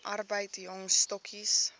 arbeid jong stokkies